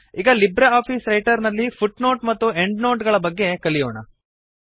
ಈಗ LibreOffice Writer ನಲ್ಲಿ footnote ಮತ್ತು ಎಂಡ್ ನೋಟ್ ಗಳ ಬಗ್ಗೆ ಕಲಿಯೋಣ